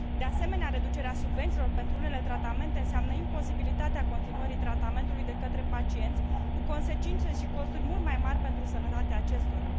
De asemenea, reducerea subvențiilor pentru unele tratamente înseamnă imposibilitatea continuării tratamentului de către pacienți, cu consecințe și costuri mult mai mari pentru sănătatea acestora.